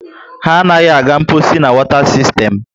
Ha anaghị aga mposi na wota sistern